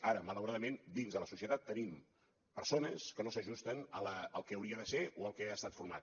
ara malauradament dins de la societat tenim persones que no s’ajusten al que hauria de ser o pel que ha estat format